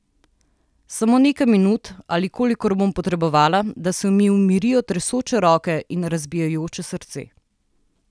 Samo nekaj minut, ali kolikor bom potrebovala, da se mi umirijo tresoče roke in razbijajoče srce.